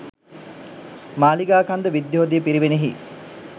Maligakanda, Vidyodaya පිරිවෙනෙහි